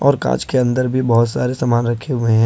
और कांच के अंदर भी बहुत सारे सामान रखे हुए हैं।